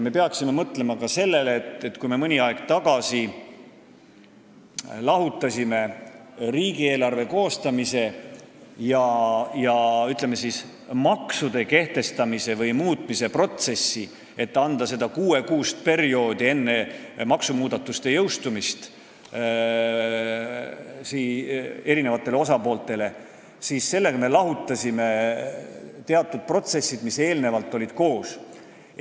Me peaksime mõtlema ka sellele, et kui me mõni aeg tagasi lahutasime riigieelarve koostamise ja, ütleme, maksude kehtestamise või muutmise protsessi, et anda enne maksumuudatuste jõustumist eri osapooltele kuus kuud aega, siis sellega me lahutasime teatud protsessid, mis eelnevalt koos olid olnud.